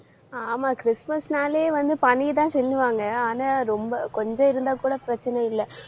ஆமா கிறிஸ்துமஸ்னாலே வந்து பனியைத்தான் சொல்லுவாங்க. ஆனா ரொம்ப கொஞ்சம் இருந்தா கூட பிரச்சனை இல்லை.